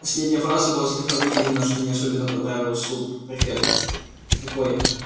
последняя фраза была слегка выделена что не особенно понравилось суб-префекту